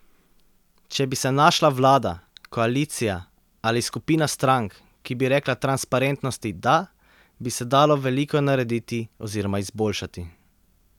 Če bi se našla vlada, koalicija ali skupina strank, ki bi rekla transparentnosti da, bi se dalo veliko narediti oziroma izboljšati.